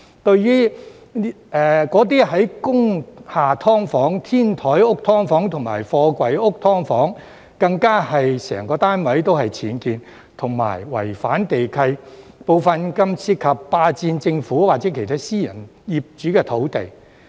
至對工廈"劏房"、天台屋"劏房"及貨櫃屋"劏房"，更有可能是整個單位僭建和違反地契，部分更涉及霸佔政府或其他私人業主的土地。